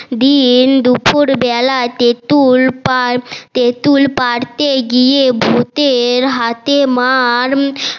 দিন দুপুর বেলা তেতুল পার তেতুল পারতে গিয়ে ভুতের হাতে মার